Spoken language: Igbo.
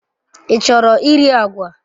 Ị chọrọ iri agwa?